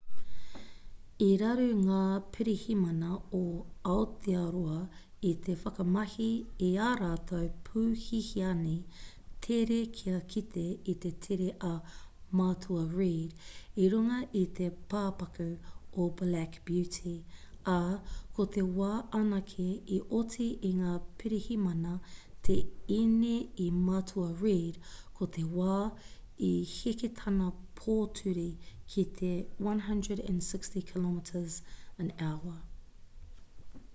i raru ngā pirihimana o aotearoa i te whakamahi i ā rātou pū hihiani tere kia kite i te tere a matua reid i runga i te pāpaku o black beauty ā ko te wā anake i oti i ngā pirihimana te ine i matua reid ko te wā i heke tana pōturi ki te 160km/h